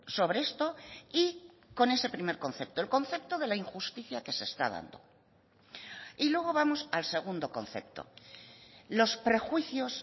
sobre esto y con ese primer concepto el concepto de la injusticia que se está dando y luego vamos al segundo concepto los prejuicios